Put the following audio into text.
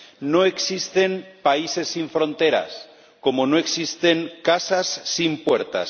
No existen países sin fronteras, como no existen casas sin puertas.